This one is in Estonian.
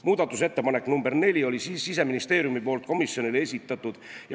Muudatusettepaneku nr 4 oli komisjonile esitanud Siseministeerium.